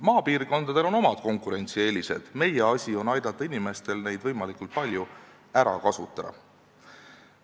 Maapiirkondadel on omad konkurentsieelised, meie asi on aidata inimestel neid võimalikult palju ära kasutada.